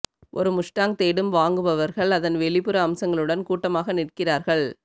ஒரு முஸ்டாங் தேடும் வாங்குபவர்கள் அதன் வெளிப்புற அம்சங்களுடன் கூட்டமாக நிற்கிறார்கள்